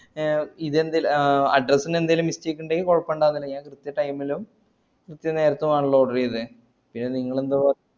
ആഹ് address ന് എന്തെങ്കിലും mistake ണ്ടങ്കി കൊയപ്പണ്ടായില്ല കൃത്യ time ലും കൃത്യ നേരത്താണല്ലോ oder ഈതെ പിന്നെ നിങ്ങളെന്താ